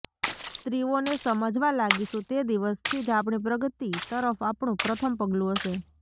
સ્ત્રીઓને સમજવા લાગીશુ તે દિવસથી જ આપણી પ્રગતિ તરફ આપણું પ્રથમ પગલું હશે